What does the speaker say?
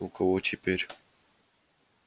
у кого теперь